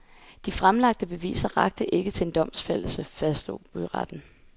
De fremlagte beviser rakte ikke til en domfældelse, fastslog byretten.